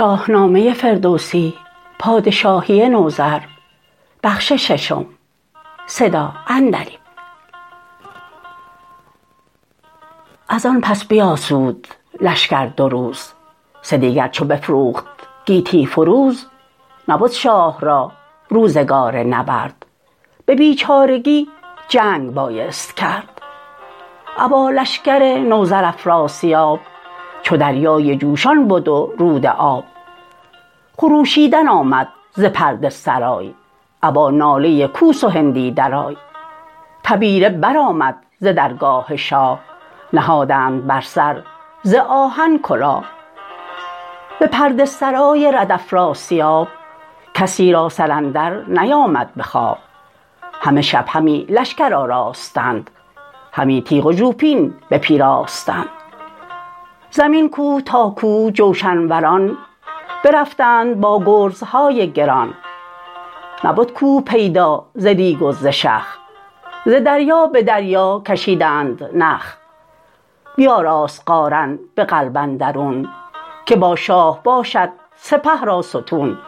ازان پس بیاسود لشکر دو روز سه دیگر چو بفروخت گیتی فروز نبد شاه را روزگار نبرد به بیچارگی جنگ بایست کرد ابا لشکر نوذر افراسیاب چو دریای جوشان بد و رود آب خروشیدن آمد ز پرده سرای ابا ناله کوس و هندی درای تبیره برآمد ز درگاه شاه نهادند بر سر ز آهن کلاه به پرده سرای رد افراسیاب کسی را سر اندر نیامد به خواب همه شب همی لشکر آراستند همی تیغ و ژوپین بپیراستند زمین کوه تا کوه جوشن وران برفتند با گرزهای گران نبد کوه پیدا ز ریگ و ز شخ ز دریا به دریا کشیدند نخ بیاراست قارن به قلب اندرون که با شاه باشد سپه را ستون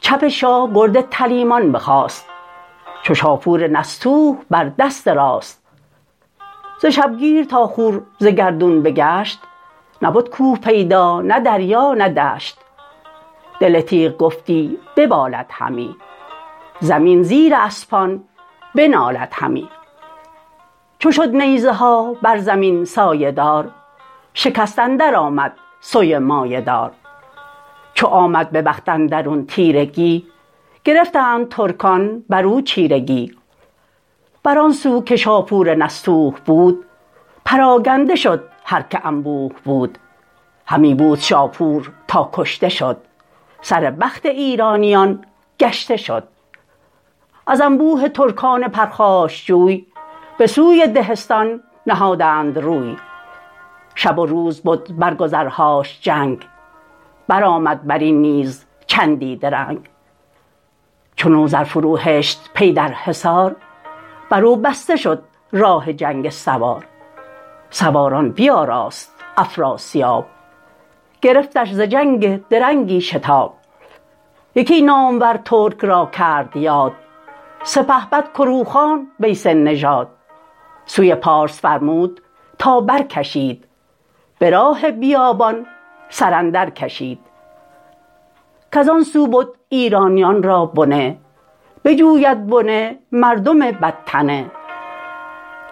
چپ شاه گرد تلیمان بخاست چو شاپور نستوه بر دست راست ز شبگیر تا خور ز گردون بگشت نبد کوه پیدا نه دریا نه دشت دل تیغ گفتی ببالد همی زمین زیر اسپان بنالد همی چو شد نیزه ها بر زمین سایه دار شکست اندر آمد سوی مایه دار چو آمد به بخت اندرون تیرگی گرفتند ترکان برو چیرگی بران سو که شاپور نستوه بود پراگنده شد هرک انبوه بود همی بود شاپور تا کشته شد سر بخت ایرانیان گشته شد از انبوه ترکان پرخاشجوی به سوی دهستان نهادند روی شب و روز بد بر گذرهاش جنگ برآمد برین نیز چندی درنگ چو نوذر فرو هشت پی در حصار برو بسته شد راه جنگ سوار سواران بیاراست افراسیاب گرفتش ز جنگ درنگی شتاب یکی نامور ترک را کرد یاد سپهبد کروخان ویسه نژاد سوی پارس فرمود تا برکشید به راه بیابان سر اندر کشید کزان سو بد ایرانیان را بنه بجوید بنه مردم بدتنه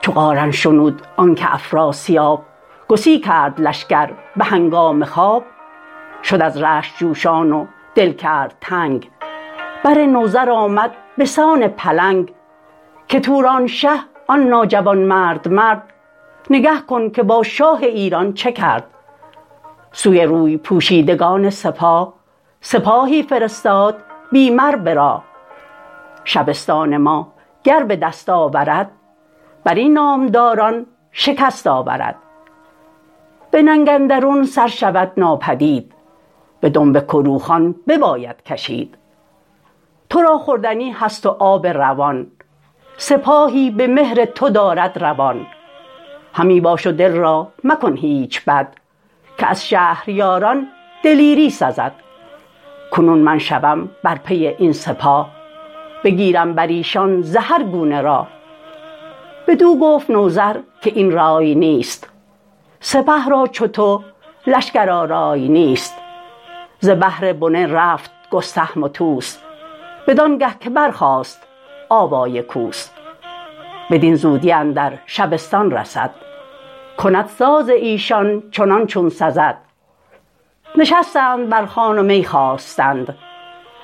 چو قارن شنود آنکه افراسیاب گسی کرد لشکر به هنگام خواب شد از رشک جوشان و دل کرد تنگ بر نوذر آمد بسان پلنگ که توران شه آن ناجوانمرد مرد نگه کن که با شاه ایران چه کرد سوی روی پوشیدگان سپاه سپاهی فرستاد بی مر به راه شبستان ماگر به دست آورد برین نامداران شکست آورد به ننگ اندرون سر شود ناپدید به دنب کروخان بباید کشید ترا خوردنی هست و آب روان سپاهی به مهر تو دارد روان همی باش و دل را مکن هیچ بد که از شهریاران دلیری سزد کنون من شوم بر پی این سپاه بگیرم بریشان ز هر گونه راه بدو گفت نوذر که این رای نیست سپه را چو تو لشکرآرای نیست ز بهر بنه رفت گستهم و طوس بدانگه که برخاست آوای کوس بدین زودی اندر شبستان رسد کند ساز ایشان چنان چون سزد نشستند بر خوان و می خواستند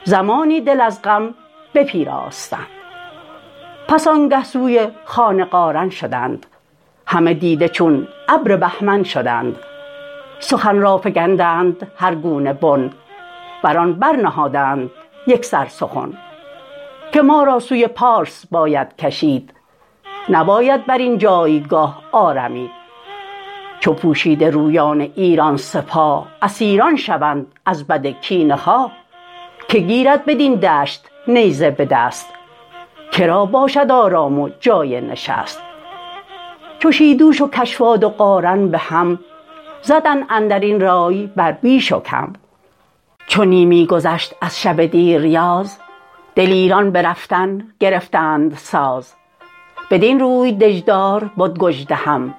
زمانی دل از غم بپیراستند پس آنگه سوی خان قارن شدند همه دیده چون ابر بهمن شدند سخن را فگندند هر گونه بن بران برنهادند یکسر سخن که ما را سوی پارس باید کشید نباید برین جایگاه آرمید چو پوشیده رویان ایران سپاه اسیران شوند از بد کینه خواه که گیرد بدین دشت نیزه به دست کرا باشد آرام و جای نشست چو شیدوش و کشواد و قارن بهم زدند اندرین رای بر بیش و کم چو نیمی گذشت از شب دیریاز دلیران به رفتن گرفتند ساز بدین روی دژدار بد گژدهم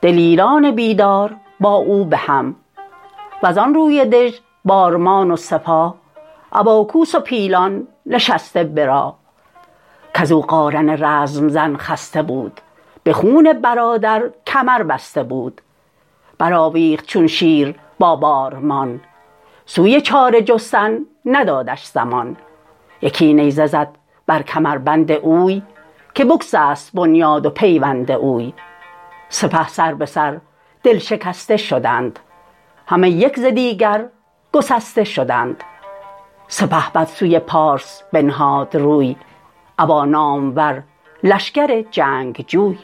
دلیران بیدار با او بهم وزان روی دژ بارمان و سپاه ابا کوس و پیلان نشسته به راه کزو قارن رزم زن خسته بود به خون برادر کمربسته بود برآویخت چون شیر با بارمان سوی چاره جستن ندادش زمان یکی نیزه زد بر کمربند اوی که بگسست بنیاد و پیوند اوی سپه سر به سر دل شکسته شدند همه یک ز دیگر گسسته شدند سپهبد سوی پارس بنهاد روی ابا نامور لشکر جنگ جوی